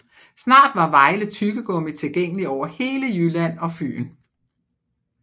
Snart var Vejle Tyggegummi tilgængelig over hele Jylland og Fyn